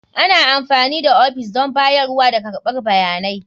Ana amfani da ofis don bayarwa da karɓar bayanai.